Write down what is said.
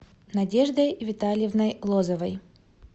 надеждой витальевной лозовой